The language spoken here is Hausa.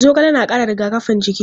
Zogale na ƙara rigakafin jiki.